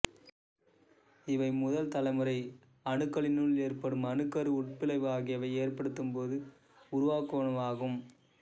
இவை முதல் தலைமுறை அணுக்களினுள் ஏற்படும் அணுக்கரு உட் பிளவு ஆகியவை ஏற்படும்போது உருவாகுவனவாகும்